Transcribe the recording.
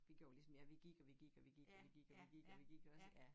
Vi gjorde ligesom jer vi gik og vi gik og vi gik og vi gik og vi gik og vi gik også ja